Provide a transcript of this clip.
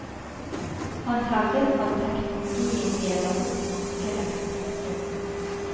Han hevdet at teknologien deler opp markedet. punktum